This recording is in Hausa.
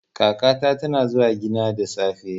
Kakata tana zuwa gina da sassafe.